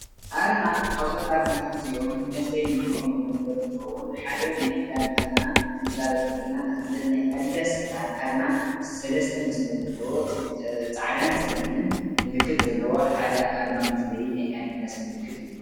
ኣርማ ካብዚኦም ኣርማታት እዚኦም ንመፍለይ ንጥቀመሎም ነገር እንትኮዉን ሓደ ናይ ክዳን ኣርማ ክንዛረብ ክለና ንኣብነት ናይ ኣዲዳስ ዝበሃል ኣርማ ሰለስተ መስመር ዘለዎ ፃዕዳን፤ ፀሊምን ምልክት ዘለዎ ሓደ ኣርማ መፍለዪ ናይ ኣዲዳስ ምልክት እዩ።